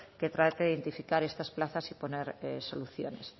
que trate de identificar estas plazas y poner soluciones